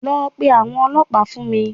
Lọ pe àwọn ọlọ́pàá fún mi